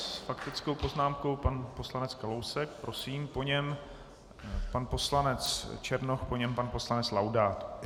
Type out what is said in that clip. S faktickou poznámkou pan poslanec Kalousek, prosím, po něm pan poslanec Černoch, po něm pan poslanec Laudát.